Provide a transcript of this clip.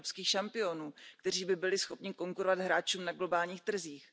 evropských šampionů, kteří by byli schopni konkurovat hráčům na globálních trzích.